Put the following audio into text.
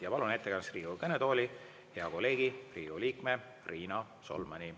Ja palun ettekandeks Riigikogu kõnetooli hea kolleegi, Riigikogu liikme Riina Solmani.